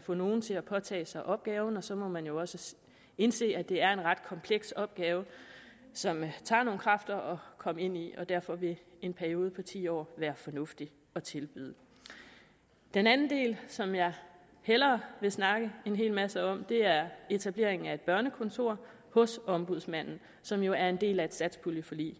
få nogen til at påtage sig opgaven og så må man jo også indse at det er en ret kompleks opgave som det tager nogle kræfter at komme ind i derfor vil en periode på ti år være fornuftig at tilbyde den anden del som jeg hellere vil snakke en hel masse om er delen etableringen af et børnekontor hos ombudsmanden som jo er en del af et satspuljeforlig